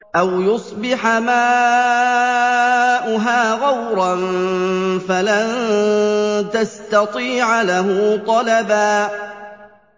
أَوْ يُصْبِحَ مَاؤُهَا غَوْرًا فَلَن تَسْتَطِيعَ لَهُ طَلَبًا